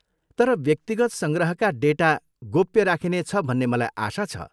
तर व्यक्तिगत सङ्ग्रहका डेटा गोप्य राखिनेछ भन्ने मलाई आशा छ?